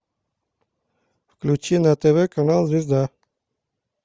включи на тв канал звезда